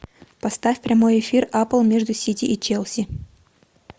поставь прямой эфир апл между сити и челси